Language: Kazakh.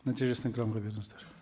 нәтижесін экранға беріңіздер